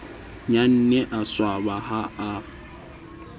nnyane a swaba ha a